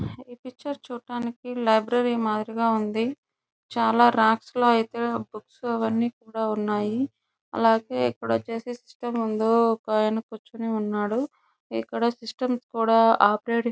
ఈ పిక్చర్ చూడడానికి లైబ్రరీ మాధురి గా ఉంది చాలా రాక్స్ లో అయితే బుక్స్ అవన్నీ కూడా ఉన్నాయ్ అలాగే ఇక్కడ ఓచేసి సిస్టం ముందు ఒక ఆయన కూర్చుని ఉన్నాడు ఇక్కడ సిస్టం కూడా ఆపరేటింగ్ --